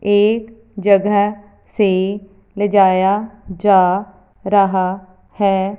एक जगह से ले जाया जा रहा है।